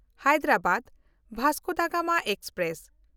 Hyderabad Vasco da Gama express